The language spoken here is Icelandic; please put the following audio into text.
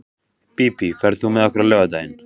Bíbí, ferð þú með okkur á laugardaginn?